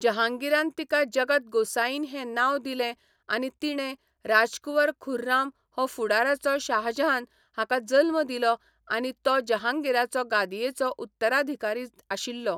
जहांगीरान तिका जगत गोसाईन हें नांव दिलें आनी तिणें राजकुंवर खुर्राम हो फुडाराचो शाहजहान हाका जल्म दिलो आनी तो जहांगीराचो गादयेचो उत्तराधिकारी आशिल्लो.